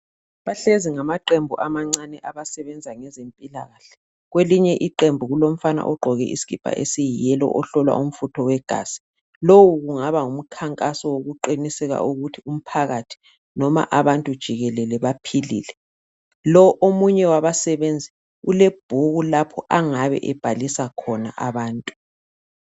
bahlezi ngamaqembu amancane abasebenza ngezempilakahle kwelinye iqembu kulomfana ogqoke isikipa esiyi yellow ohlolwa umfutho wegazi lowu kungaba ngumkhankaso wokuqiniseka ukuthi umphakathi noma abantu jikelele baphilile lowu omunye wabasebenzi ulebhuku lapho angabe ebhalisa khona abantu